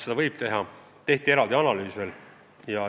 Selle kohta tehti veel eraldi analüüs.